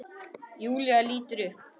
Júlía lítur upp.